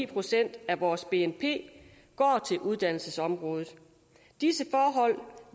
procent af vores bnp går til uddannelsesområdet disse forhold